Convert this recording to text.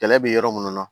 Kɛlɛ bɛ yɔrɔ minnu na